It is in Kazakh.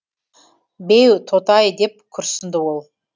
беу тоты ай деп күрсінді ол